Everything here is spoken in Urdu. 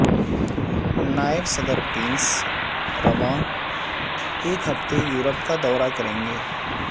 نائب صدر پینس رواں ہفتے یورپ کا دورہ کریں گے